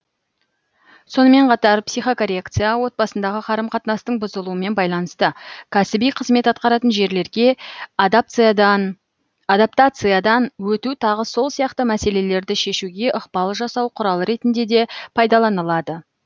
сонымен қатар психокоррекция отбасындағы қарым қатынастың бұзылуымен байланысты кәсіби қызмет атқаратын жерлерге адаптациядан өту тағы сол сияқты мәселелерді шешуге ықпал жасау құралы ретінде де пайдаланылады